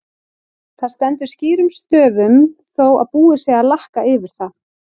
Það stendur skýrum stöfum þó að búið sé að lakka yfir það!